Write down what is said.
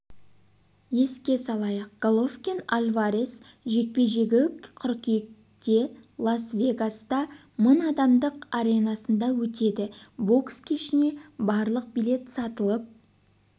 еске салайық головкин альварес жекпе-жегі қыркүйекте лас-вегаста мың адамдық аренасында өтеді бокс кешіне барлық билет сатылып